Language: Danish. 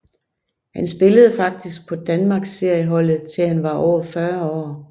Han spillede faktisk på Danmarksserieholdet til han var over 40 år